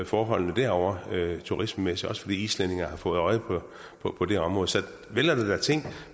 forholdene derovre turistmæssigt også fordi islændinge har fået øje på på det område så vel er der da ting